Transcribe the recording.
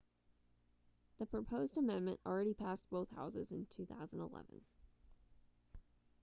the proposed amendment already passed both houses in 2011